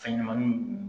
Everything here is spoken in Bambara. Fɛn ɲɛnɛmaniw